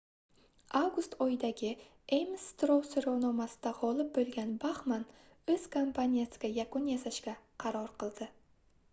avgust oyidagi ames strow soʻrovnomasida gʻolib boʻlgan baxman oʻz kampaniyasiga yakun yasashga qaror qildi